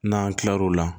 N'an tilal'o la